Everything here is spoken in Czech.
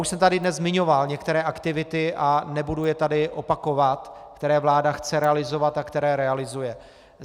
Už jsem tady dnes zmiňoval některé aktivity a nebudu je tady opakovat, které vláda chce realizovat a které realizuje.